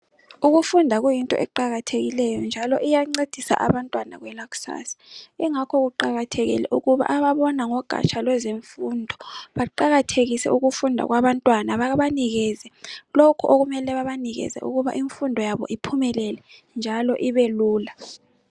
Ukufunda kuyinto eqakathekileyo njalo iyancedisa abantu kwelakusasa. Engakho kuqakathekile ukuba ababona ngezogatsha lwemfundo baqakathekise ukufunda kwabantwana babanikeze lokho okumele babanikeze ukuba imfundo yabo iphumelele njalo ibe lula.